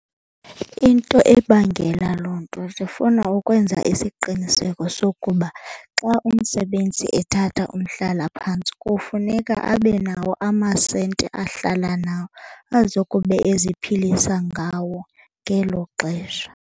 Into ebangela loo nto zifuna ukwenza isiqiniseko sokuba xa umsebenzi ethatha umhlalaphantsi kufuneka abe nawo amasenti ahlala nawo azokube eziphilisa ngawo ngelo xesha.